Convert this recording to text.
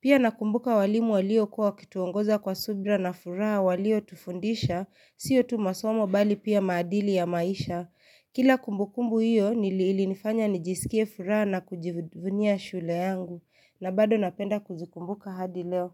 Pia nakumbuka walimu walio kuwa wakituongoza kwa subira na furaha walio tufundisha, siyo tu masomo bali pia maadili ya maisha. Kila kumbukumbu hiyo niliili nifanya nijisikie furaha na kujivunia shule yangu na bado napenda kuzikumbuka hadi leo.